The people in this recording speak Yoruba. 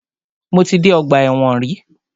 Mo ti dé ọgbà ẹ̀wọ̀n rí.